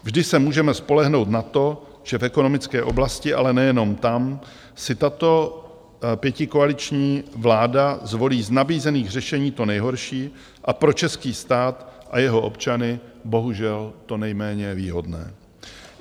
Vždy se můžeme spolehnout na to, že v ekonomické oblasti, ale nejenom tam, si tato pětikoaliční vláda zvolí z nabízených řešení to nejhorší a pro český stát a jeho občany bohužel to nejméně výhodné.